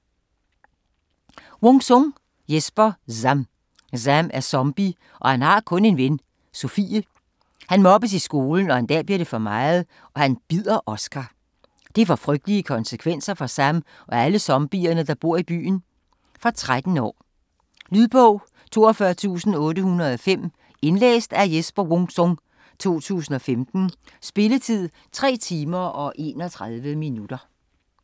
Wung-Sung, Jesper: Zam Zam er zombie, og har kun en ven, Sofie. Han mobbes i skolen, og en dag bliver det for meget, og han bider Oscar. Det får frygtelige konsekvenser for Zam og alle zombierne, der bor i byen. Fra 13 år. Lydbog 42805 Indlæst af Jesper Wung-Sung, 2015. Spilletid: 3 timer, 31 minutter.